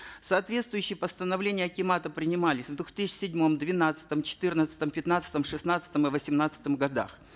соответствующие постановления акимата принимались в две тысячи седьмом двенадцатом четырнадцатом пятнадцатом шестнадцатом и восемнадцатом годах